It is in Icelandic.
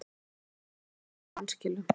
Stór hluti útlána í vanskilum